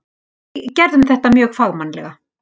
Við gerðum þetta mjög fagmannlega.